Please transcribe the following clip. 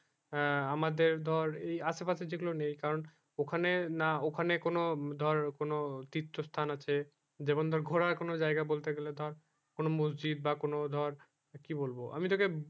হ্যাঁ আমাদের ধর যে আসে পাশে যে গুলো নেই কারণ ওখানে না ওখানে কোনো ধর কোনো তীর্থ স্থান আছে যেমন ধর ঘোরার কোনো জায়গা বলতে গেলে ধর কোনো মসজিদ বা কোনো ধর কি বলবো আমি তোকে